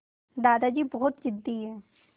दादाजी बहुत ज़िद्दी हैं